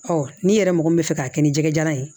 n'i yɛrɛ mɔgɔ min bɛ fɛ k'a kɛ ni jɛgɛ jalan ye